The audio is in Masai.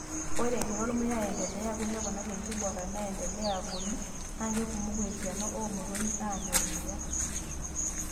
Ore egira ormuya aendeleya aku, neponari enkiborra neendelea agolu, naa kekumoku esiana oo motonyi aanya ormuya.